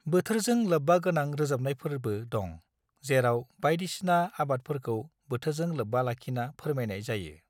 बोथोरजों लोब्बागोनां रोजाबनायफोरबो दं, जेराव बाइदिसिना आबादफोरखौ बोथोरजों लोब्बा लाखिना फोरमायनाय जायो।